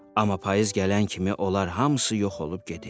Amma payız gələn kimi onlar hamısı yox olub gedirdi.